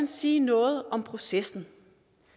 sige noget om processen